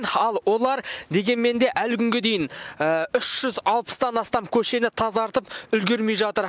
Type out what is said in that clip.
ал олар дегенмен де әлі күнге дейін үш жүз алпыстан астам көшені тазартып үлгермей жатыр